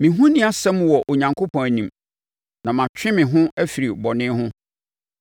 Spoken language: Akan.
Me ho nni asɛm wɔ Onyankopɔn anim, na matwe me ho afiri bɔne ho.